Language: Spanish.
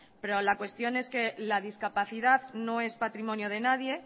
pero la cuestión es que la discapacidad no es patrimonio de nadie